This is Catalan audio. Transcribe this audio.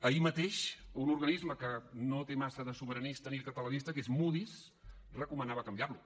ahir mateix un organisme que no té massa de sobiranista ni de catalanista que és moody’s recomanava canviar lo